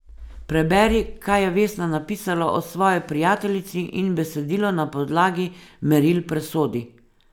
Preberi, kaj je Vesna napisala o svoji prijateljici, in besedilo na podlagi meril presodi.